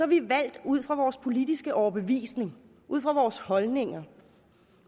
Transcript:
vi valgt ud fra vores politiske overbevisning ud fra vores holdninger